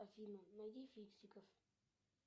афина найди фиксиков